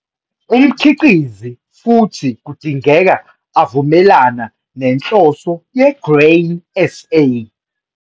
Umkhiqizi futhi kudingeka avumelana nenhloso ye-Grain SA.